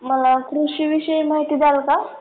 मला कृषीविषयी माहिती द्याल का?